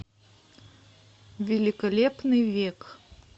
великолепный век